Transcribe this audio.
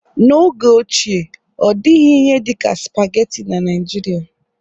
N'oge ochie ọ dịghị ihe dị ka spageti na Nijiria.